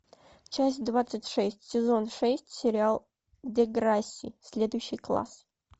часть двадцать шесть сезон шесть сериал деграсси следующий класс